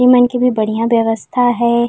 एमन के भी बढियाँ व्यवस्था है।